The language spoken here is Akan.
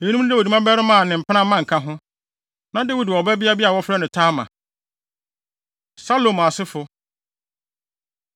Eyinom ne Dawid mmabarima a ne mpena mma nka ho. Na Dawid wɔ ɔbabea bi a wɔfrɛ no Tamar. Salomo Asefo